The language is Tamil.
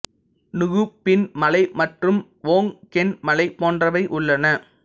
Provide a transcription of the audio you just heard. நுகு பின் மலை மற்றும் வோங் கேன் மலை போன்றவை உள்ளன